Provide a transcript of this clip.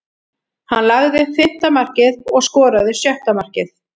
Hann lagði upp fimmta markið og skoraði sjötta markið.